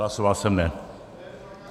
Hlasoval jsem ne.